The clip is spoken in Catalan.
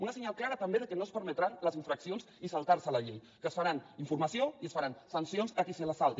un senyal clar també que no es permetran les infraccions i saltar se la llei que es farà informació i es faran sancions a qui se la salti